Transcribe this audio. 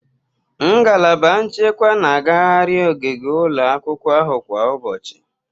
Ngalaba nchekwa na-agaghari ogige ụlọ akwụkwọ ahụ kwa ụbọchị.